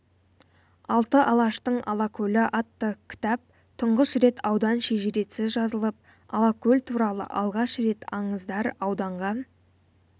алты алаштың алакөлі атты кітапта тұңғыш рет аудан шежіресі жазылып алакөл туралы алғаш рет аңыздар ауданға